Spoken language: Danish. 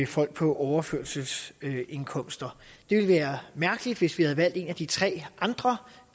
folk på overførselsindkomster det ville være mærkeligt hvis vi havde valgt en af de tre andre